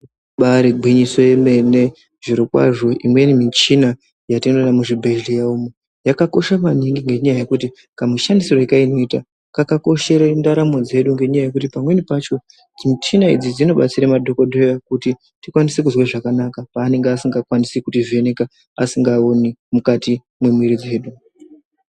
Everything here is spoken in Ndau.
Ibaari gwinyiso yemene, zvirokwazvo imweni michina yatinoona muzvibhedhleya umo, yakakosha maningi ngenyaya yekuti kamushandisire yekanoita kakakoshere ndaramo dzedu ngekuti pamweni pacho ,michina idzi dzinobatsire madhokodheya kuti tikwanise kuzwe zvakanaka, paanenge asingakwanisi kutivheneka asikaoni mukati mwemwiri dzedu.